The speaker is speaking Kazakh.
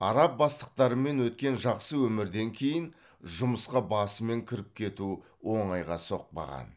араб бастықтарымен өткен жақсы өмірден кейін жұмысқа басымен кіріп кету оңайға соқпаған